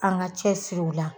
An ka cɛsir'u la